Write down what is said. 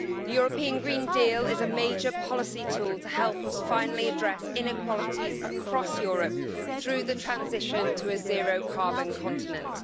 The European Green Deal is a major policy tool to help us finally address inequalities across Europe through the transition to a zero carbon continent.